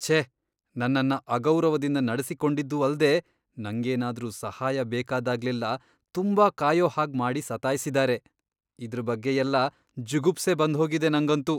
ಛೇ.. ನನ್ನನ್ನ ಅಗೌರವದಿಂದ ನಡೆಸಿಕೊಂಡಿದ್ದೂ ಅಲ್ದೇ ನಂಗೇನಾದ್ರೂ ಸಹಾಯ ಬೇಕಾದಾಗ್ಲೆಲ್ಲಾ ತುಂಬಾ ಕಾಯೋ ಹಾಗ್ ಮಾಡಿ ಸತಾಯ್ಸಿದಾರೆ. ಇದ್ರ್ ಬಗ್ಗೆಯೆಲ್ಲ ಜುಗುಪ್ಸೆ ಬಂದ್ಹೋಗಿದೆ ನಂಗಂತೂ.